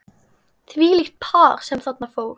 Þvílíkt par sem þarna fór.